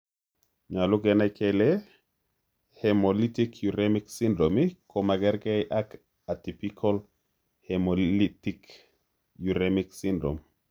Nyolu kenai kele hemolytic uremic syndrome komagerke ak atypical hemolytic uremic syndrome .